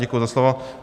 Děkuji za slovo.